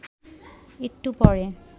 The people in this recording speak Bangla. একটু পরে